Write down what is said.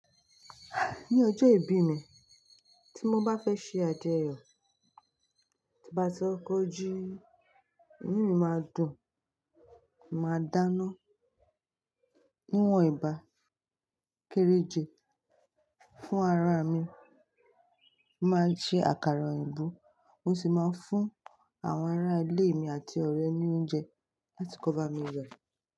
Ni ọjọ́ ìbí mi, tí mo bá fẹ́ ṣe àjọyọ̀, tí bá ti ọkọ̀ ji, inu mi máa dùn, mo màá dáná wíwọ̀n ẹbà kéreje fún ara mi, màá jẹ àkàrà òyìnbó, mó sì máa fún àwọn ará ilé mi àti ọ̀rẹ́ ni oúnjẹ láti kọ́ ba mi wẹ̀